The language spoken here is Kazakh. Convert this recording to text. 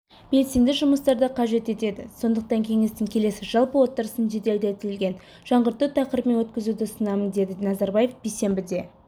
белсенді жұмыстарды қажет етеді сондықтан кеңестің келесі жалпы отырысын жеделдетілген жаңғырту тақырыбымен өткізуді ұсынамын деді назарбаев бейсенбіде